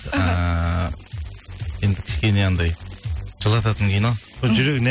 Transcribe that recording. ыыы енді кішкене анандай жылататын кино жүрегіне